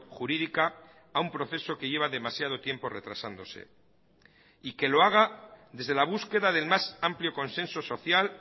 jurídica a un proceso que lleva demasiado tiempo retrasándose y que lo haga desde la búsqueda del más amplio consenso social